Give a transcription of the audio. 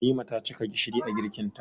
Halima ta cika gishiri a girkin ta